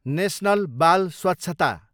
national बाल स्वछता